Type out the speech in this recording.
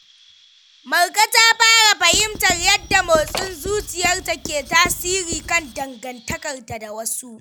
Marka ta fara fahimtar yadda motsin zuciyarta ke tasiri kan dangantakarta da wasu.